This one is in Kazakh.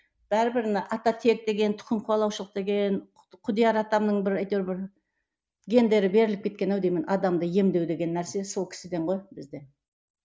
бәрібір мына ата тек деген тұқым қуалаушылық деген құдияр атамның бір әйтеуір бір гендері беріліп кеткен ау деймін адамды емдеу деген нәрсе сол кісіден ғой бізде